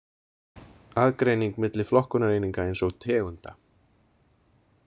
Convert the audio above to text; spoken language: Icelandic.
Aðgreining milli flokkunareininga eins og tegunda.